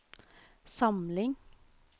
samling